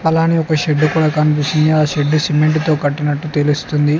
అలానే ఒక షెడ్డు కూడా కనిపిస్తుంది ఆ షెడ్డు సిమెంటుతో కట్టినట్టు తెలుస్తుంది.